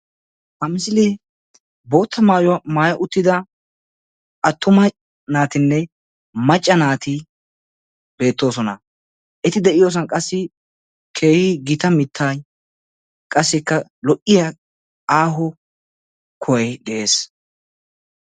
Ha misilee boottaa maayuwaa mayyi uttida attuma naatinne macca naati beettoosona; eti de'iyoosan qassi keehi gita mittay qassikka lo"iyaa aaho kuhay de'ees.